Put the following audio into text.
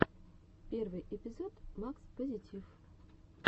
первый эпизод макс позитив